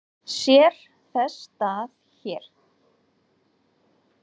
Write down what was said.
Sér þess stað hér?